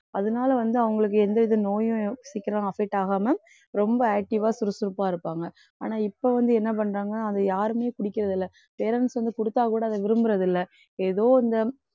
அதனால வந்து அவங்களுக்கு எந்தவித நோயும் சீக்கிரம் affect ஆகாம ரொம்ப active ஆ சுறுசுறுப்பா இருப்பாங்க. ஆனா இப்ப வந்து என்ன பண்றாங்க அதை யாருமே குடிக்கிறது இல்லை. parents வந்து குடுத்தா கூட அதை விரும்புறது இல்லை. ஏதோ இந்த